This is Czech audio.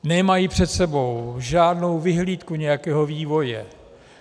Nemají před sebou žádnou vyhlídku nějakého vývoje.